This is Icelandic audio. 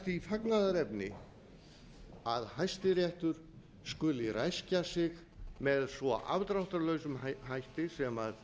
því fagnaðarefni að hæstiréttur skuli ræskja sig með svo afdráttarlausum hætti sem